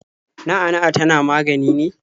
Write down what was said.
Na'a na'a tana magani ne?